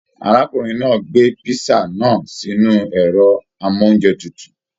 Arákùnrin náà gbé pisa náà sínú ẹrọ amounjẹ tútù.